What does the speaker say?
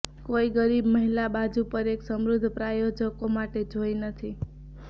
કોઈ ગરીબ મહિલા બાજુ પર એક સમૃદ્ધ પ્રાયોજકો માટે જોઈ નથી